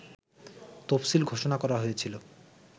তফসিল ঘোষণা করা হয়েছিল